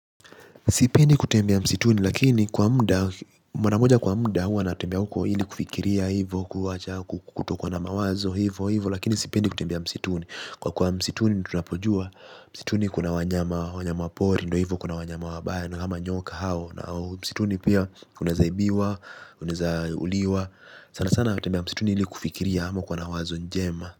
Sipendi kutembea msituni, lakini kwa muda, mara moja kwa muda huwa natembea huko ili kufikiria hivo, kutoka na mawazo hivo hivo, lakini sipendi kutembea msituni. Kwa kwa msituni tunapojua, msituni kuna wanyama wanyamapori, ndo hivo kuna wanyama wabaya, ama nyoka hao, na msituni pia unezaibiwa, unezauliwa, sana sana natembia msituni ili kufikiria hama kuwa na wazo njema.